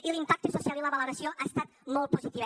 i l’impacte social i la valoració han estat molt positius